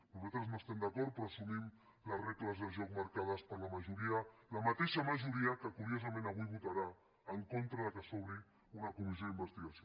nosaltres no hi estem d’acord però assumim les regles del joc marcades per la majoria la mateixa majoria que curiosament avui votarà en contra que s’obri una comissió d’investigació